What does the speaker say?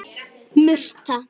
Hún hlær enn meira.